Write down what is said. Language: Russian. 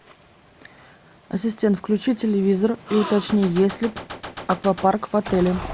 ассистент включи телевизор и уточни есть ли аквапарк в отеле